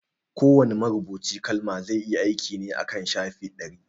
Kowa ne marubucin kalma zai yi aiki ne akan shafi ɗari